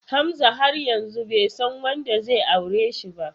Hamza har yanzu bai san wanda zai aure shi ba.